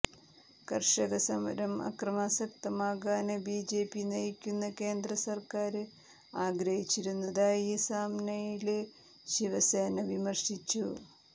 കര്ഷകസമരം അക്രമാസക്തമാകാന് ബിജെപി നയിക്കുന്ന കേന്ദ്ര സര്ക്കാര് ആഗ്രഹിച്ചിരുന്നതായി സാമ്നയില് ശിവസേന വിമര്ശിച്ചു